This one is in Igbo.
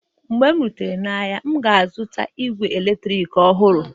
mgbe m rutere n'ahịa, m ga-azụta igwe eletrik ọhụrụ.